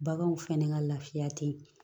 Baganw fɛnɛ ka lafiya te yen